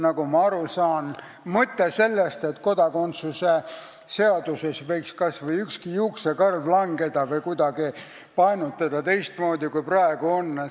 Nagu ma aru saan, tekitab neis õudusevärinaid mõte sellest, et kodakondsuse seaduses võiks kas või ükski juuksekarv langeda või et seda võiks kuidagi painutada teistmoodi, kui praegu on.